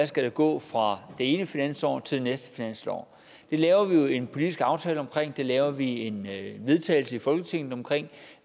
skal gå fra det ene finansår til det næste finansår det laver vi jo en politisk aftale om det laver vi en vedtagelse i folketinget om